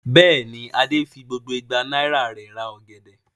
Bẹ́ẹ̀ ni, Adé fi gbogbo igba náírà rẹ̀ ra ọ̀gẹ̀dẹ̀.